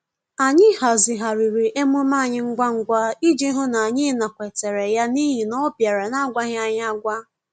Anyị hazigharịrị emume anyị ngwa ngwa iji hụ n'anyị nakwetere ya n'ihi ọ bịara na-agwaghị anyị agwa